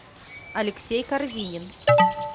алексей корзинин